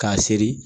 K'a seri